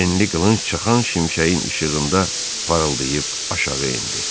Enli qılınc çaxan şimşəyin işığında parıldayıb aşağı endi.